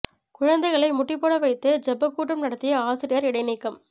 குழந்தைகளை முட்டி போட வைத்து ஜெபக்கூட்டம் நடத்திய ஆசிரியர் இடைநீக்கம்